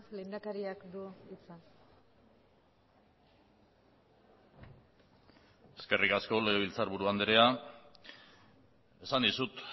lehendakariak du hitza eskerrik asko legebiltzarburu andrea esan dizut